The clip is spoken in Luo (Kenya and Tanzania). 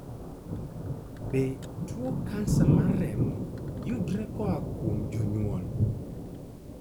Be tuwo kansa mar remo yudore koa kuom jonyuol?